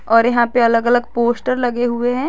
और यहां पे अलग अलग पोस्टर लगे हुए हैं।